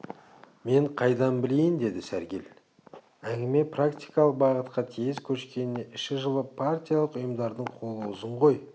мен қайдан білейін деді сәргел әңгіме практикалық бағытқа тез көшкеніне іші жылып партиялық ұйымдардың қолы ұзын ғой